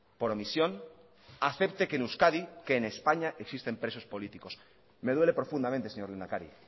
por omisión acepte que en euskadi que en españa existen presos políticos me duele profundamente señor lehendakari